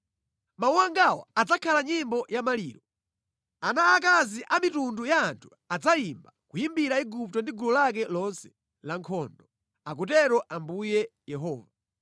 “Mawu angawa adzakhala nyimbo ya maliro. Ana a akazi amitundu ya anthu adzayimba, kuyimbira Igupto ndi gulu lake lonse la nkhondo, akutero Ambuye Yehova.”